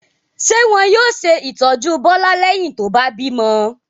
Ṣé wọn yóò ṣe ìtọ́jú Bólú lẹ́yìn tó bá bímọ?